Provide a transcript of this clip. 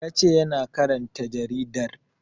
Ya ce yana karanta jaridar